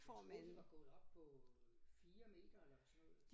Jeg troede de var gået op på 4 meter eller sådan noget